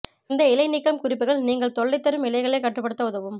இந்த இலை நீக்கம் குறிப்புகள் நீங்கள் தொல்லைதரும் இலைகளைக் கட்டுப்படுத்த உதவும்